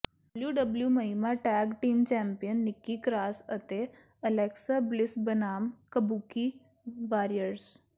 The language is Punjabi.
ਡਬਲਯੂਡਬਲਯੂਈ ਮਹਿਲਾ tag team champion Nikki Cross ਅਤੇ ਅਲੈਕਸਾ ਬਲਿਸ ਬਨਾਮ ਕਬੂਕੀ ਵਾਰੀਅਰਜ਼